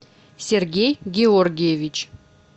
сергей георгиевич